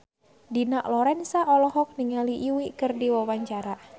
Dina Lorenza olohok ningali Yui keur diwawancara